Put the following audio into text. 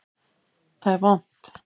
Það er vont.